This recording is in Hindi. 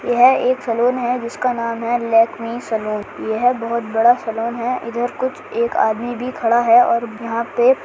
यह एक सैलून है जिसका नाम है लैकमी सैलून यह बहुत बड़ा सैलून है इधर कुछ एक आदमी भी खड़ा है और यहाँ पे --